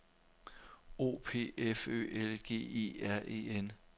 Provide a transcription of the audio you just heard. O P F Ø L G E R E N